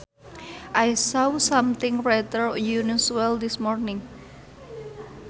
I saw something rather unusual this morning